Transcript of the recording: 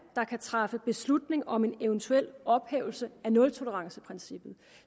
der kan træffe beslutning om en eventuel ophævelse af nultoleranceprincippet